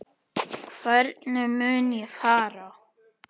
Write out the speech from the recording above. Hvernig mun ég fara?